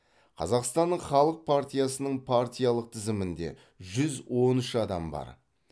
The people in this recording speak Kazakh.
қазақстанның халық партиясының партиялық тізімінде жүз он үш адам бар